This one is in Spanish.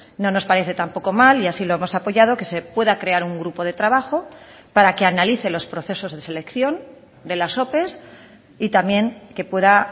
no nos parece tampoco mal y así lo hemos apoyado que se pueda crear un grupo de trabajo para que analice los procesos de selección de las ope y también que pueda